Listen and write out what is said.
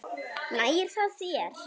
Nægir það þér?